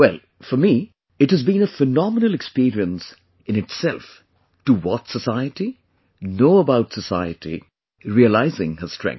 Well for me, it has been a phenomenal experience in itself to watch society, know about society, realizing her strength